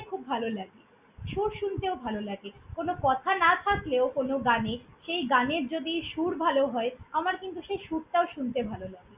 খুব ভালো লাগে। সুর শুনতেও ভালো লাগে, কোনো কথা না থাকলেও কোনো গানে সেই গানের যদি সুর ভাল হয়, আমার কিন্তু সেই সুরটাও তো শুনতে ভাল লাগে।